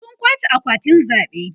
sun kwace akwatin zaɓe